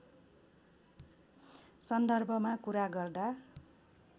सन्दर्भमा कुरा गर्दा